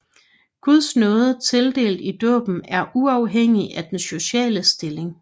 Guds nåde tildelt i dåben er uafhængig af den sociale stilling